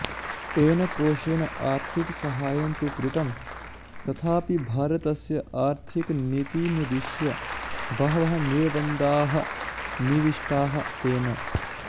तेन कोशेन आर्थिकसाहाय्यं तु कृतं तथापि भारतस्य आर्थिकनीतिमुद्दिश्य बहवः निर्बन्धाः निविष्टाः तेन